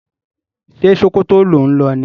Ṣe Sokoto ló ń lo ni?